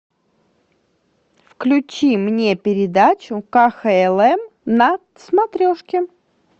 включи мне передачу кхлм на смотрешке